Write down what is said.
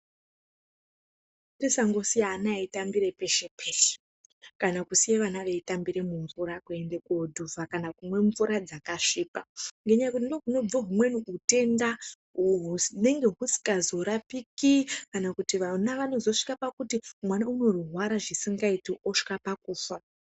Tisandosiya ana eitambira peshe peshe kana kusiya vana veitambira mumvura, kwende koodhuvha kana kumwe mvura dzakasvipa ngenyaya yekuti ndokunobva humweni hutenda uhwo hunenge husikazorapiki kana kuti vana vanozosvika pakuti mwana unorwara zvisikaiti osvika pakufa.